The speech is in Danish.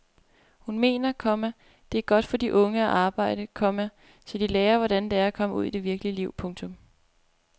Hun mener, komma det er godt for de unge at arbejde, komma så de lærer hvordan det er at komme ud i det virkelige liv. punktum